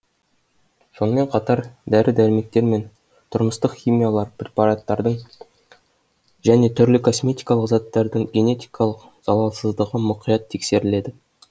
сонымен қатар дәрі дәрмектер мен тұрмыстық химиялық препараттардың және түрлі косметикалық заттардың генетикалық залалсыздығы мұқият тексеріледі